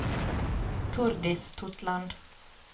Tordis Totland